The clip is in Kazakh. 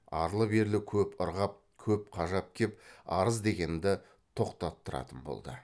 арлы берлі көп ырғап көп қажап кеп арыз дегенді тоқтаттыратын болды